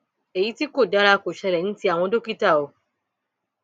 èyí tí kò dára kò ṣẹlẹ ní ti àwọn dókítà o